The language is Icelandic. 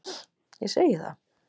Ég segi það.